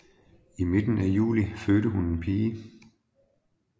I midten af juli fødte hun en pige